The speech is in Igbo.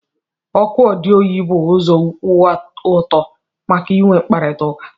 Oku odiyo bụ ụzọ kwụ ọtọ maka inwe mkparịta ụka.